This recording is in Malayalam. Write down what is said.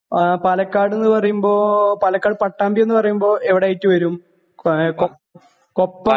ആ പാലക്കാട് എന്ന് പറയുമ്പോ പാലക്കാട് പട്ടാമ്പി എന്ന് പറയുമ്പോ എവടെ ആയിട്ട് വരും കോയ കൊപ്പം